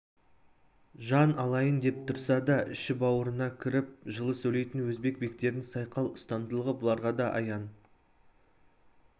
жан алайын деп тұрса да іші-бауырыңа кіріп жылы сөйлейтін өзбек бектерінің сайқал ұстамдылығы бұларға да аян